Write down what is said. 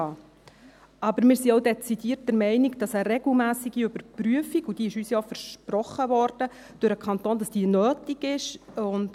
Wir sind aber auch dezidiert der Meinung, dass eine regelmässige Überprüfung nötig ist, und diese wurde uns durch den Kanton ja versprochen.